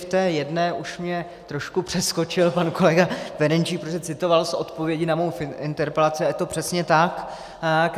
V té jedné už mě trošku přeskočil pan kolega Ferjenčík, protože citoval z odpovědi na mou interpelaci, a je to přesně tak.